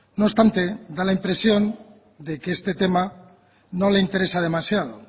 no obstante da la impresión de que este tema no le interesa demasiado